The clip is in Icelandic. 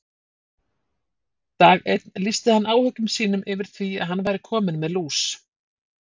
Dag einn lýsti hann áhyggjum sínum yfir því að hann væri kominn með lús.